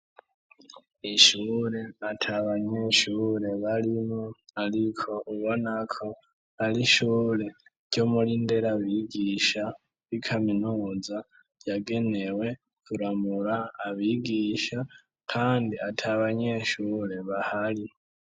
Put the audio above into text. Ishure atabanyeshure balimo aliko bibonako arishure ryomulindera bigisha b'ikaminuza yagenewe turamura abigisha kandi ata banyeshure bahari.